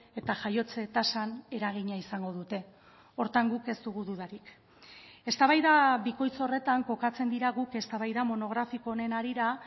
eta jaiotze tasan eragina izango dute horretan guk ez dugu dudarik eztabaida bikoitz horretan kokatzen dira guk eztabaida monografiko honen harira